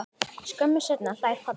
Skömmu seinna hlær pabbi.